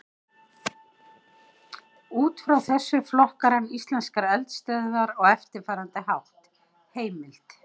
Út frá þessu flokkar hann íslenskar eldstöðvar á eftirfarandi hátt: Heimild: